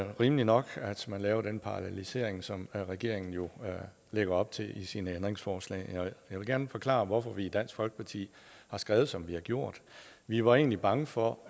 rimeligt nok at man laver den parallelisering som regeringen jo lægger op til med sine ændringsforslag jeg vil gerne forklare hvorfor vi i dansk folkeparti har skrevet som vi har gjort vi var egentlig bange for